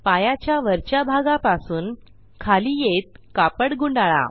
पायाच्या वरच्या भागापासून खाली येत कापड गुंडाळा